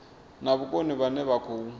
na vhukoni vhane vha khou